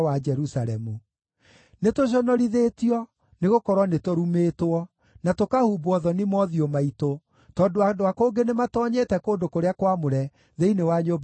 “Nĩtũconorithĩtio, nĩgũkorwo nĩtũrumĩtwo, na tũkahumbwo thoni mothiũ maitũ, tondũ andũ a kũngĩ nĩmatoonyete kũndũ kũrĩa kwamũre thĩinĩ wa nyũmba ya Jehova.”